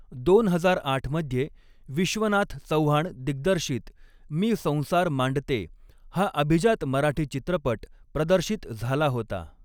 दोन हजार आठ मध्ये विश्वनाथ चव्हाण दिग्दर्शित मी संसार मांडते हा अभिजात मराठी चित्रपट प्रदर्शित झाला होता.